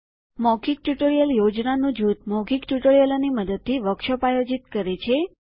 મૌખિક ટ્યુટોરીયલ યોજનાનું જૂથ મૌખિક ટ્યુટોરિયલોની મદદથી વર્કશોપ આયોજિત કરે છે